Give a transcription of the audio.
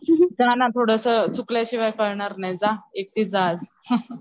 जा ना थोडासा चुकल्या शिवाय कळणार नाही जा एकटी जा आज